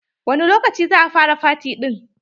Wani lokaci za a fara faty ɗin?